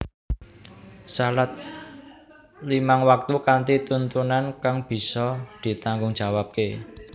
Salat limang waktu kanthi tuntunan kang bisa ditanggungjawabke